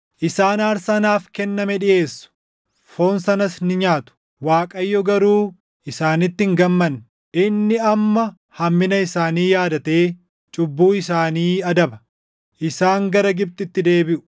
Isaan aarsaa naaf kenname dhiʼeessu; foon sanas ni nyaatu; Waaqayyo garuu isaanitti hin gammanne. Inni amma hammina isaanii yaadatee cubbuu isaanii adaba: Isaan gara Gibxitti deebiʼu.